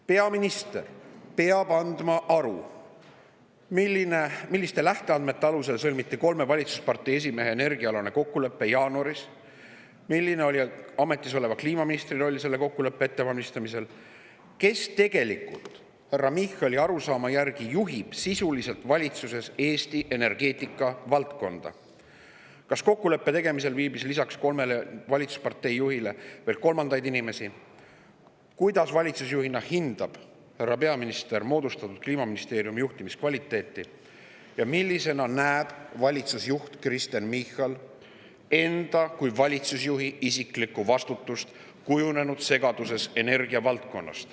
Peaminister peab andma aru, milliste lähteandmete alusel sõlmiti kolme valitsuspartei esimehe energiaalane kokkulepe jaanuaris; milline oli ametis oleva kliimaministri roll selle kokkuleppe ettevalmistamisel; kes tegelikult härra Michali arusaama järgi juhib sisuliselt valitsuses Eesti energeetikavaldkonda; kas kokkuleppe tegemisel viibis lisaks kolmele valitsuspartei juhile veel inimesi; kuidas hindab härra peaminister valitsusjuhina Kliimaministeeriumi juhtimiskvaliteeti ja millisena näeb Kristen Michal enda kui valitsusjuhi isiklikku vastutust kujunenud segaduses energiavaldkonnas.